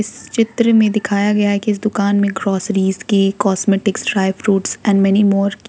इस चित्र में दिखाया गया है की इस दुकान में ग्रोसरीज के cosmetic dry fruits and many more --